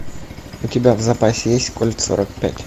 у тебя в запасе есть кольт сорок пять